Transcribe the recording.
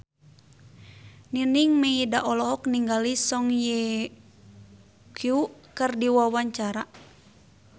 Nining Meida olohok ningali Song Hye Kyo keur diwawancara